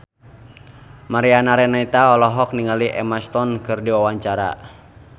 Mariana Renata olohok ningali Emma Stone keur diwawancara